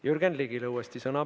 Jürgen Ligile uuesti sõna.